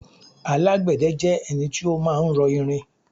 alágbède jẹ́ ẹni tí ó ma ń rọ irin